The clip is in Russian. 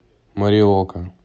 мориока